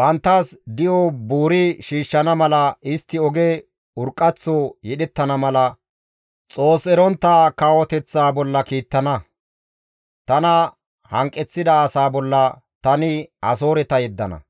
banttas di7o buuri shiishshana mala, istti oge urqqaththo yedhettana mala, Xoos erontta kawoteththa bolla kiittana. Tana hanqeththida asaa bolla tani Asooreta yeddana.